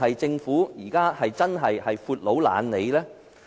政府對此是否真的"闊佬懶理"？